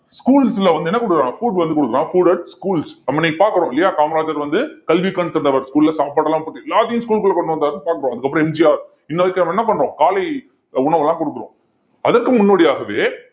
schools ல வந்து என்ன குடுக்குறாங்க food வந்து குடுக்குறான் food at schools நம்ம இன்னைக்கு பாக்குறோம் இல்லையா காமராஜர் வந்து கல்விக்கண் திறந்தவர் school ல சாப்பாடு எல்லாம் போட்டு எல்லாத்தையும் school குள்ள கொண்டு வந்தாருன்னு பார்க்கிறோம் அதுக்கப்புறம் எம்ஜிஆர் நம்ம என்ன பண்றோம் காலை உணவு எல்லாம் கொடுக்குறோம் அதற்கு முன்னோடியாகவே